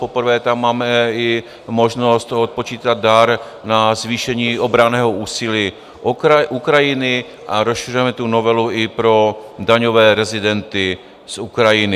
Poprvé tam máme i možnost odpočítat dar na zvýšení obranného úsilí Ukrajiny a rozšiřujeme tu novelu i pro daňové rezidenty z Ukrajiny.